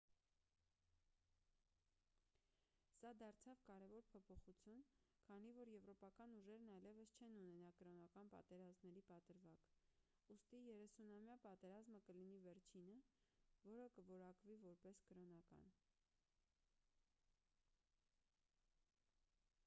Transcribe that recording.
սա դարձավ կարևոր փոփոխություն քանի որ եվրոպական ուժերն այլևս չեն ունենա կրոնական պատերազմների պատրվակ ուստի երեսունամյա պատերազմը կլինի վերջինը որը կորակվի որպես կրոնական